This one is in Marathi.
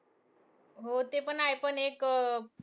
हो ते पण आहे. पण एक अं